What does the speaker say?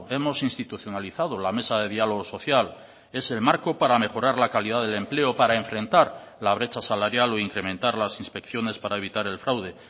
hemos institucionalizado la mesa de diálogo social es el marco para mejorar la calidad del empleo para enfrentar la brecha salarial o incrementar las inspecciones para evitar el fraude